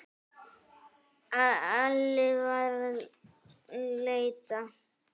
Alli var að leita.